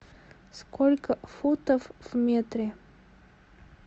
сколько футов в метре